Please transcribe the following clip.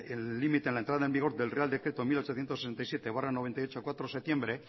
el límite en la entrada en vigor del real decreto mil ochocientos sesenta y siete barra noventa y ocho cuatro de septiembre